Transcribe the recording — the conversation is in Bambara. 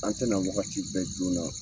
An tɛna wagati bɛɛ joona.